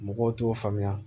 Mɔgɔw t'o faamuya